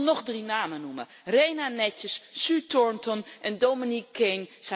Ik wil nog drie namen noemen Rena Netjes, Sue Turton en Dominic Kane.